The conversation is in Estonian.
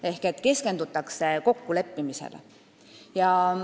Ehk keskendutakse kokkuleppimisele.